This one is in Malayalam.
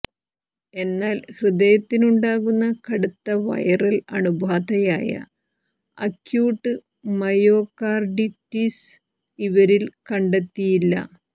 എന്നാൽ ഹൃദയത്തിനുണ്ടാകുന്ന കടുത്ത വൈറൽ അണുബാധയായ അക്യൂട്ട് മയോകാർഡിറ്റിസ് ഇവരിൽ കണ്ടെത്തിയില്ല